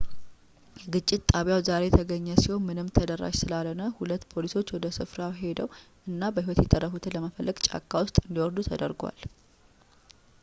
የግጭት ጣቢያው ዛሬ የተገኘ ሲሆን ምንም ተደራሽ ስላልሆነ ሁለት ፖሊሶች ወደ ስፍራው ሄደው እና በሕይወት የተረፉትን ለመፈለግ ጫካ ውስጥ እንዲወርዱ ተደርጓል